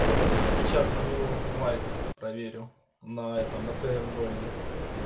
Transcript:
сейчас на ми восемь лайт проверю на этом на циардроиде